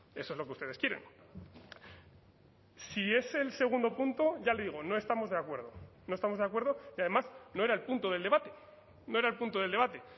eso es lo que ustedes quieren si es el segundo punto ya le digo no estamos de acuerdo no estamos de acuerdo y además no era el punto del debate no era el punto del debate